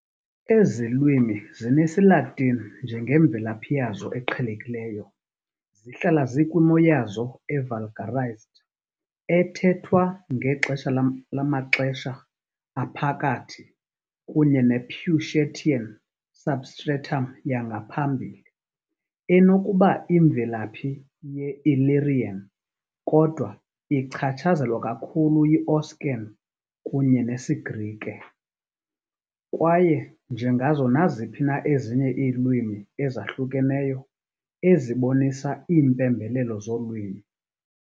Ezi lwimi zinesiLatini njengemvelaphi yazo eqhelekileyo, zihlala zikwimo yazo "evulgarized" ethethwa ngexesha lamaXesha Aphakathi, kunye ne-Peucetian substratum yangaphambili, enokuba imvelaphi ye-Illyrian, kodwa ichatshazelwa kakhulu yiOscan kunye nesiGrike, kwaye, njengazo naziphi na ezinye iilwimi ezahlukeneyo, ezibonisa iimpembelelo zolwimi.